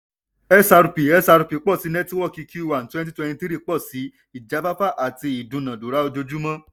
xrp xrp pọ̀ sí nẹ́tíwọ́kì q one twenty twenty three pọ̀ sí ijafafa àti idunadura ojoojúmọ́.